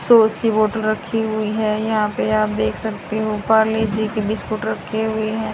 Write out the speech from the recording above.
Sauce की bottle रखी हुईं हैं यहां पे आप देख सकते हो पारले जी की बिस्किट रखे हुए हैं।